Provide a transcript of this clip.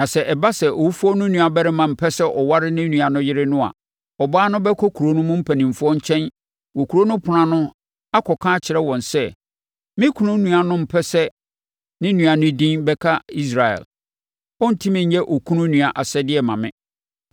Na sɛ ɛba sɛ owufoɔ no nuabarima mpɛ sɛ ɔware ne nua no yere no a, ɔbaa no bɛkɔ kuro no mpanimfoɔ nkyɛn wɔ kuro no ɛpono ano akɔka akyerɛ wɔn sɛ, “Me kunu nua no mpɛ sɛ ne nua no din bɛka Israel. Ɔrentumi nyɛ okunu nua asɛdeɛ mma me.”